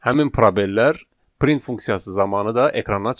Həmin probellər print funksiyası zamanı da ekrana çıxacaq.